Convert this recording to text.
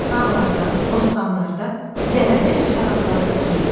Bağlarda, bostanlarda zərərli həşəratları yeyir.